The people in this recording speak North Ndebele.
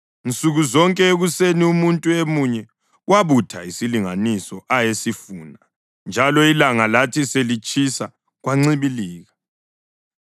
Nsuku zonke ekuseni umuntu emunye wabutha isilinganiso ayesifuna, njalo ilanga lathi selitshisa kwancibilika.